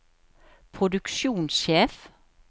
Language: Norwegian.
produksjonssjef